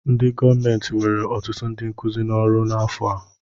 Ndị gọọmentị were ọtụtụ ndị nkuzi n'ọrụ n'afọ a.